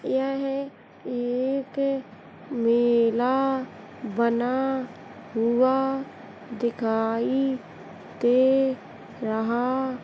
यह एक मेला बना हुआ दिखाई दे रहा --